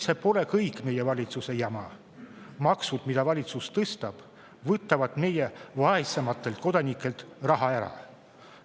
See pole kõik meie valitsuse jama, aga maksud, mida valitsus tõstab, võtavad vaesematelt kodanikelt raha ära.